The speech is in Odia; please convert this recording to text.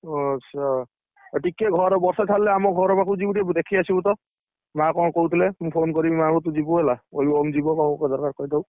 ଓ ଆଚ୍ଛା, ଆଉ ଟିକେ ଘର ବର୍ଷା ଛାଡିଲେ ଆମ ଘର ପାଖକୁ ଯିବୁ ଟିକେ ଦେଖିଆସିବୁ ତ, ମା କଣ କହୁଥିଲେ ମୁଁ phone କରିବି ମା କଣ ତୁ ଯିବୁ ହେଲା ଓମ ଜୀବ ।